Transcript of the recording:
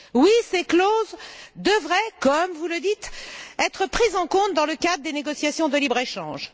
Oui, ces clauses devraient, comme vous le dites, être prises en compte dans le cadre des négociations de libre échange.